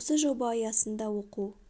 осы жоба аясында оқу